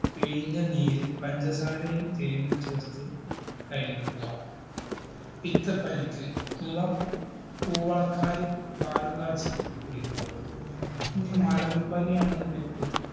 പിഴിഞ്ഞ നീര് പഞ്ചസാരയും തേനും ചേർത്ത് കഴിക്കുക പിത്തപ്പനിക്ക് ഇളം കൂവളക്കായ് പാല് കാച്ചി കുടിക്കുക ഇനി മലമ്പനി ആണെന്നുണ്ടെങ്കില്